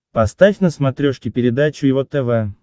поставь на смотрешке передачу его тв